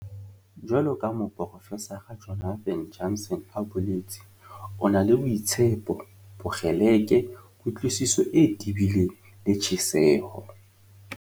Jwaloka ha Moprofesara Jonathan Jansen a boletse, "O na le boitshepo, bokgeleke, kutlwisiso e tebileng le tjheseho."